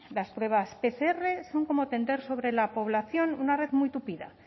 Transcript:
las pruebas pcr son como tender sobre la población una red muy tupida